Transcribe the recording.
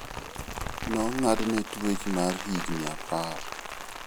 Nong'adne twech mar higini apar.